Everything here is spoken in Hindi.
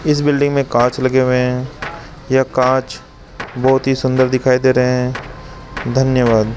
इस बिल्डिंग में कांच लगे हुए हैं ये कांच बहोत ही सुंदर दिखाई दे रहे हैं धन्यवाद --